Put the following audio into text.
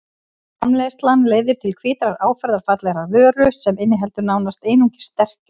Framleiðslan leiðir til hvítrar áferðarfallegrar vöru sem inniheldur nánast einungis sterkju.